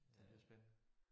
Det lyder spændende